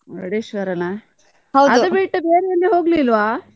Murudeshwara ನಾ, ಬೇರೆ ಎಲ್ಲಿಯೂ ಹೋಗ್ಲಿಲ್ವ?